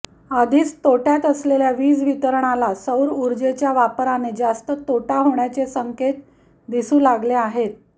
आधीच तोट्यात असलेल्या वीज वितरणला सौर उर्जेच्या वापराने जास्त तोटा होण्याचे संकेत दिसू लागले आहेत